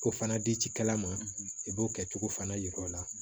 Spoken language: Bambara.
Ko fana di kala ma i b'o kɛcogo fana jira o la